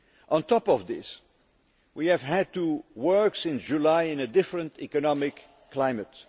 On top of this, we have had to work since July in a different economic climate.